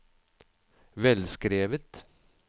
velskrevet